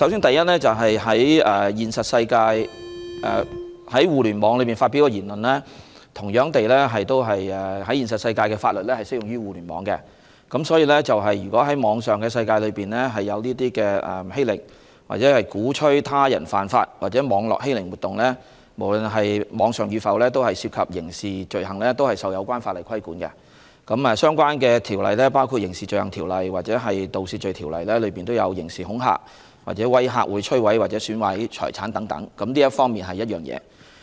第一，現實世界的法律同樣適用於在互聯網上發表的言論，所以，如果在網絡世界出現欺凌或鼓吹他人犯法等所謂網絡欺凌的活動，無論是否在網上發表，均涉及刑事罪行，同樣受到有關法律規管，包括觸犯《刑事罪行條例》或《盜竊罪條例》中的刑事恐嚇或威嚇會摧毀或損壞他人財產等罪行，這是第一點。